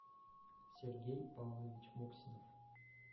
сергей павлович моксинов